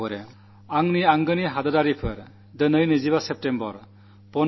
പ്രിയപ്പെട്ട ദേശവാസികളേ ഇന്ന് സെപ്റ്റംബർ 25 ആണ്